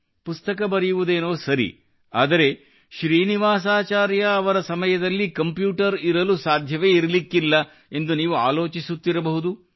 ಪುಸ್ತಕ ಬರೆಯುವುದೇನೋ ಸರಿ ಆದರೆ ಶ್ರೀನಿವಾಸಾಚಾರ್ಯ ಅವರ ಸಮಯದಲ್ಲಿ ಕಂಪ್ಯೂಟರ್ ಇರಲು ಸಾಧ್ಯವೇ ಇರಲಿಕ್ಕಿಲ್ಲ ಎಂದು ನೀವು ಆಲೋಚಿಸುತ್ತಿರಬಹುದು